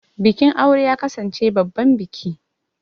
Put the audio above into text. Bikin aure ya kasance babban biki.